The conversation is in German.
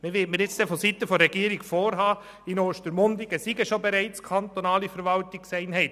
Man wird mir nun vonseiten des Regierungsrats vorhalten, in Ostermundigen befänden sich bereits kantonale Verwaltungseinheiten.